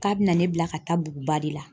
K'a bɛna ne bila ka taa buguba de la.